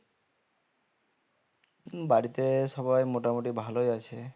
বাড়িতে সবাই মোটা মুটি ভালোই আছে